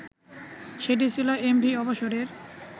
সেটিই ছিল এমভি অবসরের